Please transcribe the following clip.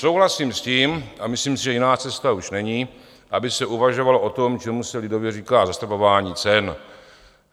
Souhlasím s tím a myslím si, že jiná cesta už není, aby se uvažovalo o tom, čemu se lidově říká zastropování cen.